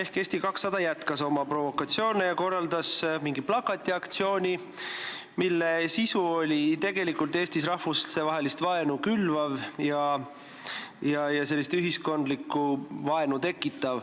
ehk Eesti 200 jätkas oma provokatsioone ja korraldas mingi plakatiaktsiooni, mille sisu oli tegelikult Eestis rahvustevahelist vaenu külvav ja ühiskondlikku vaenu tekitav.